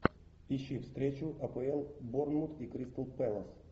ищи встречу апл борнмут и кристал пэлас